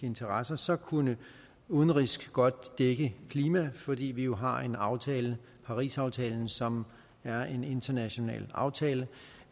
interesser så kunne udenrigs godt dække klima fordi vi jo har en aftale parisaftalen som er en international aftale